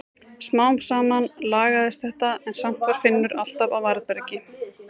Smám saman lagaðist þetta en samt var Finnur alltaf á varðbergi.